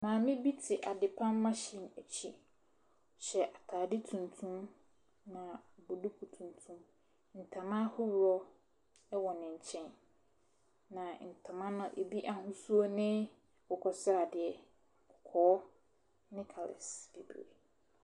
Maame bi te adepam machine akyi, ɔhyɛ ataade tuntum na ɔbɔ duku tuntum. Ntama ahorow wɔ ne nkyɛn, na ntama no ahosuo no bi ne akokɔsradeɛ, kɔkɔɔ ne colours bebree.